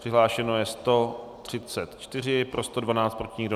Přihlášeno je 134, pro 112, proti nikdo.